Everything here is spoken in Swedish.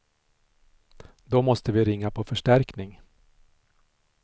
Då måste vi ringa på förstärkning.